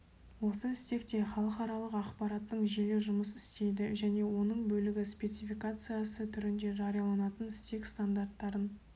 осы стекте халықаралық ақпараттың желі жұмыс істейді және оның бөлігі спецификациясы түрінде жарияланатын стек стандарттарын